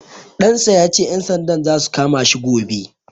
Ɗan sa ya ce, ƴan sandan za su kama shi gobe.